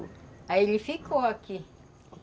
Aí ele ficou aqui.